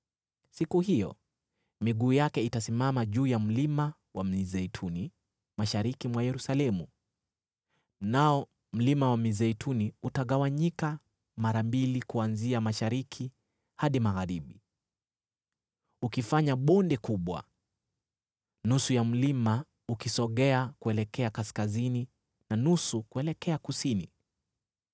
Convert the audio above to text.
Siku hiyo miguu yake itasimama juu ya Mlima wa Mizeituni, mashariki mwa Yerusalemu, nao Mlima wa Mizeituni utagawanyika mara mbili kuanzia mashariki hadi magharibi, ukifanya bonde kubwa, nusu ya mlima ukisogea kuelekea kaskazini na nusu kuelekea kusini.